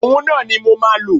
Òhun náà ni mo máa lò.